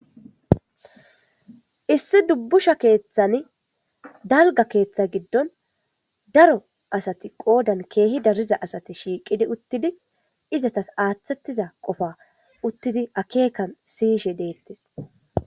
Issi dubbusha keeththani dalga keeththa giddon daro asati qoodan keehi dariza asati shiiqidi uttidi izatas aaththettiza qofa uttidi akeekan siyishe deettes.